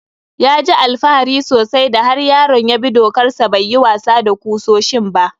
Ya ji alfahari sosai da har yaron ya bi dokar sa bai yi wasa da kusoshin ba.